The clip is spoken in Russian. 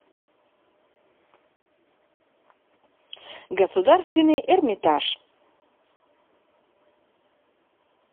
государственный эрмитаж